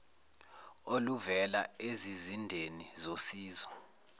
oluvela ezizindeni zosizo